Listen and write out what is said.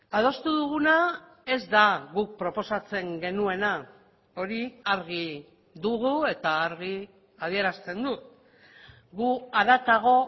adostu duguna ez da guk proposatzen genuena hori argi dugu eta argi adierazten dut gu haratago